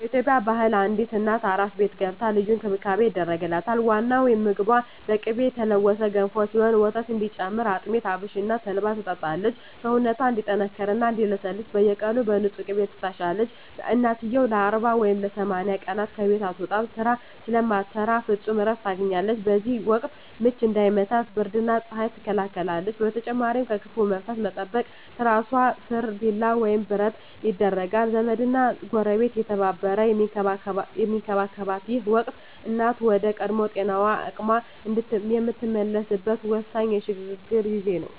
በኢትዮጵያ ባህል አዲስ እናት "አራስ ቤት" ገብታ ልዩ እንክብካቤ ይደረግላታል። ዋናው ምግቧ በቅቤ የተለወሰ ገንፎ ሲሆን፣ ወተት እንዲጨምር አጥሚት፣ አብሽና ተልባን ትጠጣለች። ሰውነቷ እንዲጠነክርና እንዲለሰልስ በየቀኑ በንፁህ ቅቤ ትታሻለች። እናትየው ለ40 ወይም ለ80 ቀናት ከቤት አትወጣም፤ ስራ ስለማትሰራ ፍጹም እረፍት ታገኛለች። በዚህ ወቅት "ምች" እንዳይመታት ብርድና ፀሐይ ትከላከላለች። በተጨማሪም ከክፉ መንፈስ ለመጠበቅ ትራሷ ስር ቢላዋ ወይም ብረት ይደረጋል። ዘመድና ጎረቤት እየተረባረበ የሚንከባከባት ይህ ወቅት፣ እናት ወደ ቀድሞ ጤናዋና አቅሟ የምትመለስበት ወሳኝ የሽግግር ጊዜ ነው።